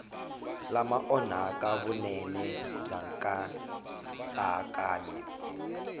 lama onhaka vunene bya nkatsakanyo